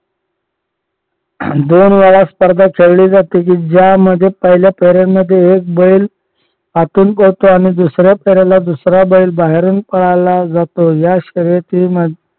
दोन वेळा स्पर्धा खेळली जाते कि पहिल्या फेरीमध्ये एक बैल आतून पळतो आणि दुसऱ्या फेरीला दुसरा बैल बाहेरून पळायला जातो. या शर्यतीमध्ये